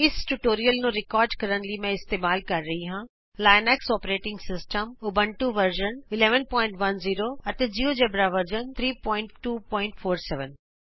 ਇਸ ਟਯੂਟੋਰਿਅਲ ਨੂੰ ਰਿਕਾਰਡ ਕਰਨ ਲਈ ਮੈਂ ਇਸਤੇਮਾਲ ਕਰ ਰਹੀ ਹਾਂ Linux operating system Ubuntu version 1110 Linux operating system Ubuntu version 1110 GeoGebra version 3247